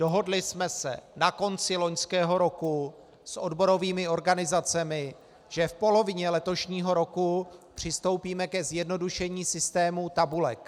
Dohodli jsme se na konci loňského roku s odborovými organizacemi, že v polovině letošního roku přistoupíme k zjednodušení systému tabulek.